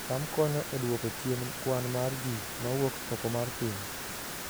cham konyo e duoko chien kwan mar ji mawuok oko mar piny